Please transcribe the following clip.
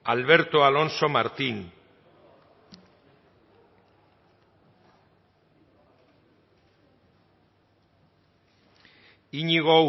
alberto alonso martín iñigo